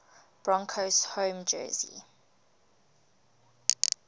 broncos home jersey